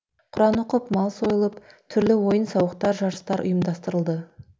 құран оқып мал сойылып түрлі ойын сауықтар жарыстар ұйымдастырылды